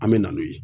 An bɛ na n'o ye